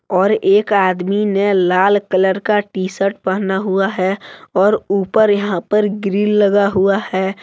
और एक आदमी ने लाल कलर का टीशर्ट पहना हुआ है और ऊपर यहां पर ग्रिल लगा हुआ है।